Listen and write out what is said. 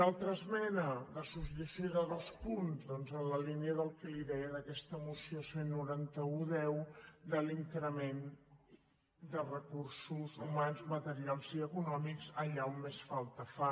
una altra esmena de substitució de dos punts doncs en la línia del que li deia d’aquesta moció cent i noranta un x de l’increment de recursos humans materials i econò·mics allà on més falta fa